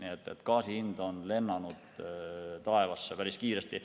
Nii et gaasi hind on lennanud taevasse päris kiiresti.